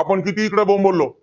आपण कितीही इकडं बोंबललो,